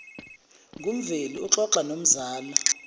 ngumveli uxoxa nomzala